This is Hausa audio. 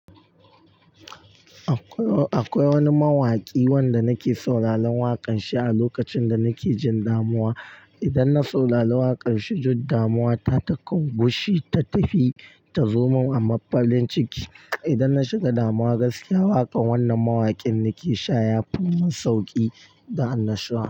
Akwai, akwai wani mawaƙi wanda nake sauraron waƙanshi a lokacin da nake jin damuwa. Idan na saurari waƙanshi, duddamuwa ta takan gushe ta tafi ta zo min a mafarin ciki. Idan na shiga damuwa gaskiya, waƙan wannan mawaƙin nake shaya fimin sauƙi da annashuwa.